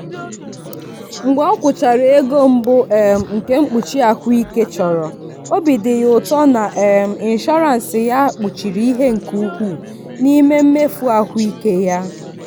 mgbe o kwụchara ego mbụ um nke mkpuchi ahụike chọrọ obi dị ya ụtọ na um inshọrans ya kpuchiri ihe ka ukwuu n'ime mmefu ahụike ya.